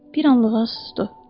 Bir anlığa susdu.